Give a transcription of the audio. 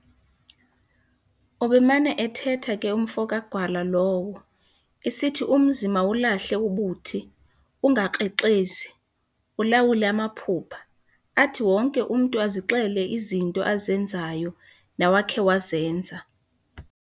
Ubemana ethetha ke umfo kaGwala lowo, esithi umzi mawulahle ubuthi, ungakrexezi, ulawule amaphupha, athi wonke umntu azixele izinto azenzayo nawakhe wazenza.